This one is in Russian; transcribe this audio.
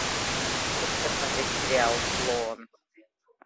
хочу посмотреть сериал клон